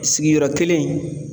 Sigiyɔrɔ kelen